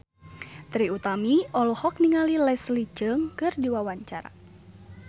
Trie Utami olohok ningali Leslie Cheung keur diwawancara